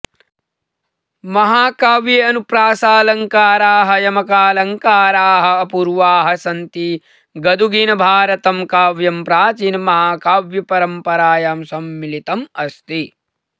महाकाव्ये अनुप्रासालङ्काराः यमकालङ्काराः अपूर्वाः सन्ति गदुगिनभारतं काव्यं प्राचीनमहाकाव्यपरंपरायां सम्मिलितमस्ति